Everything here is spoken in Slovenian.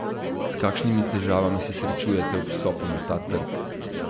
S kakšnimi težavami se srečujete ob vstopu na ta trg?